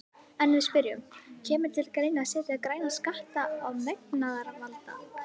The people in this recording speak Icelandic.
En við spyrjum, kemur til greina að setja græna skatta á mengunarvalda?